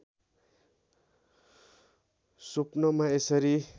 स्वप्नमा यसरी